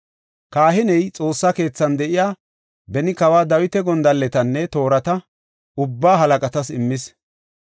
Kahiney Xoossa keethan de7iya, beni kawa Dawita gondalletanne toorata ubbaa halaqatas immis.